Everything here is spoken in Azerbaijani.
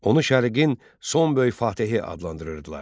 Onu şərqin son böyük Fatehi adlandırırdılar.